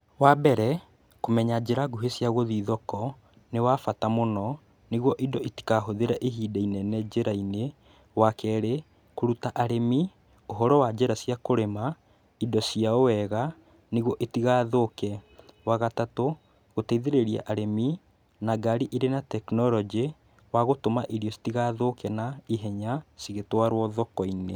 Wa mbere, kũmenya njĩra nguhĩ cia gũthiĩ thoko nĩ wa bata mũno nĩguo indo itikahũthĩre ihinda inene njĩra-inĩ. Wa kerĩ, kũruta arĩmi uhoro wa njĩra cia kũrĩma indo ciao wega nĩguo itigathũke. Wa gatatu, gũteithĩrĩria arĩmi na ngari irĩ na tekinorojĩ wa gũtũma irio citigathũke na ihenya cigĩtwarwo thoko-inĩ.